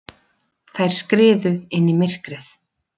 Þær skriðu inn í myrkrið.